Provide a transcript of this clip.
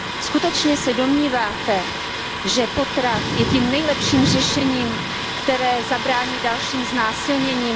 Skutečně se domníváte, že potrat je tím nejlepším řešením, které zabrání dalším znásilněním?